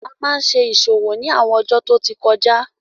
A máa n ṣe ìṣòwò ni àwọn ọjó tí ọ tí kọjá